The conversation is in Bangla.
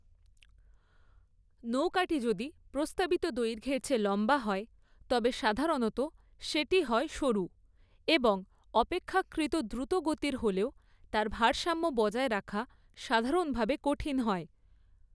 নৌকাটি যদি প্রস্তাবিত দৈর্ঘ্যের চেয়ে লম্বা হয়, তবে সাধারণত সেটি হয় সরু এবং অপেক্ষাকৃত দ্রুতগতির হলেও তার ভারসাম্য বজায় রাখা সাধারণভাবে কঠিন হয়।